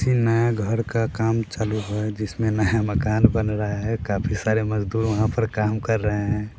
में घर का काम चालू हो या जिसमें नया मकान बन रहा है काफी सारे मज़दूर वहाँ पर काम कर रहे हैं।